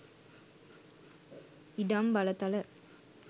ඉඩම් බලතල